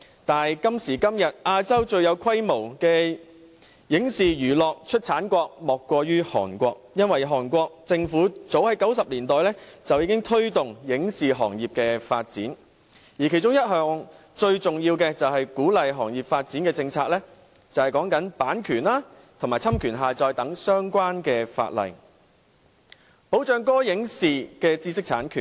但是，今時今日，亞洲最有規模的影視娛樂出產國莫過於韓國，因為韓國政府早於1990年代已經推動影視行業的發展，而其中一項最重要的鼓勵行業發展政策是修訂版權和侵權下載等相關法例，保障歌、影、視的知識產權。